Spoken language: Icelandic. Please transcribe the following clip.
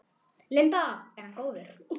Linda: Er hann góður?